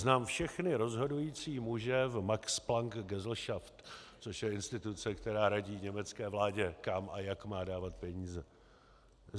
Znám všechny rozhodující muže v Max-Planck-Gesellschaft - což je instituce, která radí německé vládě kam a jak má dávat peníze.